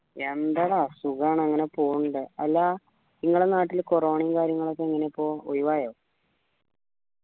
എന്താടാ സുഖാണ് അങ്ങനെ പോണിണ്ട് അല്ല ഇങ്ങളെ നാട്ടില് corona യും കാര്യങ്ങളൊക്കെ എങ്ങനിപ്പോ ഒഴിവായോ